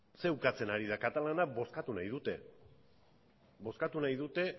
ze ukatzen ari da katalanek bozkatu nahi dute